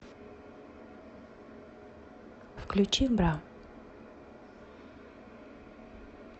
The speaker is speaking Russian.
включи бра